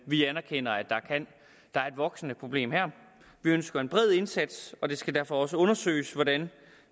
vi anerkender at der er et voksende problem her vi ønsker en bred indsats og det skal derfor også undersøges hvordan